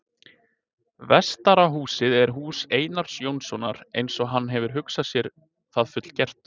Vestara húsið er hús Einars Jónssonar, eins og hann hefur hugsað sér það fullgert.